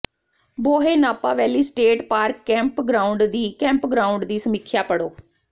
ਬੋਹੇ Napa valley state park campground ਦੀ campground ਦੀ ਸਮੀਖਿਆ ਪੜ੍ਹੋ